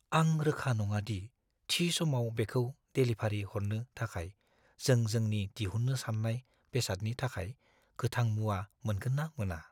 आं रोखा नङा दि थि समाव बेखौ डेलिभारि हरनो थाखाय जों जोंनि दिहुननो साननाय बेसादनि थाखाय गोथां-मुवा मोनगोन ना मोना।